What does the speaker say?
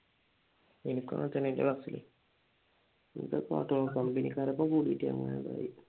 എനിക്കും അങ്ങനെ തന്നെ എന്റെ ക്ലാസ്സിലും കമ്പനിക്കാർ ഒക്കെ കൂടിട്ട് അങ്ങനെ പറയും